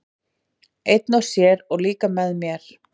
Einn og sér, og líka með mér.